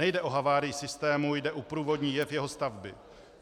Nejde o havárii systému, jde o průvodní jev jeho stavby.